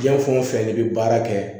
Diɲɛ fɛn o fɛn n'i bɛ baara kɛ